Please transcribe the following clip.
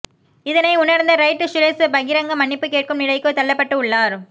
இதனை உணர்ந்த ரைட் சுரேஷ் பகிரங்க மன்னிப்பு கேட்கும் நிலைக்கு தள்ளப்பட்டு உள்ளார்